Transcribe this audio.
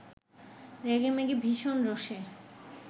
রেগেমেগে ভীষণ রোষে